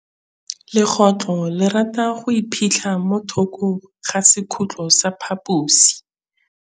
Legôtlô le rata go iphitlha mo thokô ga sekhutlo sa phaposi.